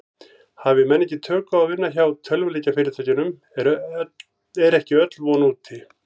Hafi menn ekki tök á að vinna hjá tölvuleikjafyrirtækjum er ekki öll von úti.